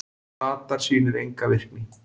Radar sýnir enga virkni